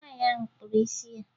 Nwaanyị ahụ kpụrụ isi ya